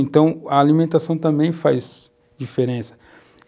Então, a alimentação também faz diferença.